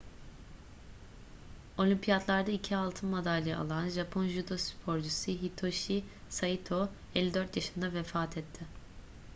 olimpiyatlarda iki altın madalya alan japon judo sporcusu hitoshi saito 54 yaşında vefat etti